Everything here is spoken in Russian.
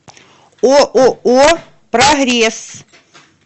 ооо прогресс